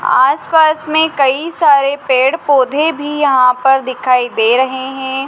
आस पास में कई सारे पेड़ पौधे भी यहां पर दिखाई दे रहे हैं।